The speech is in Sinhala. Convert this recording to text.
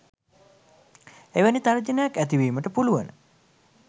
එවැනි තර්ජනයක් ඇති වීමට පුළුවන.